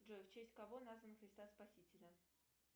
джой в честь кого назван христа спасителя